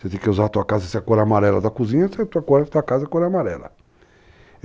Você tem que usar a tua casa se é a cor amarela da cozinha, se é a tua casa a cor amarela.